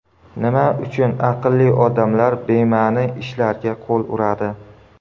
Nima uchun aqlli odamlar bema’ni ishlarga qo‘l uradi?.